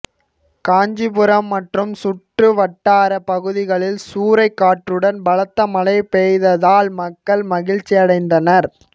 காஞ்சிபுரம் மற்றும் சுற்றுவட்டார பகுதிகளில் சூறை காற்றுடன் பலத்த மழை பெய்ததால் மக்கள் மகிழ்ச்சியடைந்தனர்